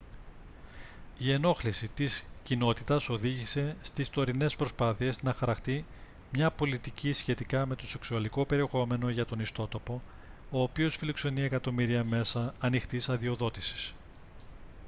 η ενόχληση της κοινότητας οδήγησε στις τωρινές προσπάθειες να χαραχτεί μια πολιτική σχετικά με το σεξουαλικό περιεχόμενο για τον ιστότοπο ο οποίος φιλοξενεί εκατομμύρια μέσα ανοιχτής αδειοδότησης